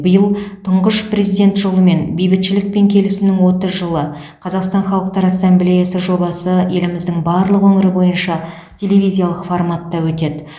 биыл тұңғыш президент жолымен бейбітшілік пен келісімнің отыз жылы қазақстан халықтар ассамблеясы жобасы еліміздің барлық өңірі бойынша телевизиялық форматта өтеді